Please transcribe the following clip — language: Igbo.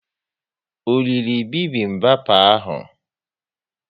O riri bibimbap ahu?